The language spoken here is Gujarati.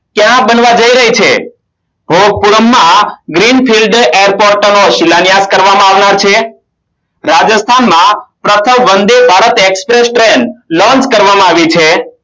ક્યાં બનાવ જઈ રહી છે રાજસ્થાનમાં પ્રથમ વંદે ભારતે Express train launch કરવામાં આવી છે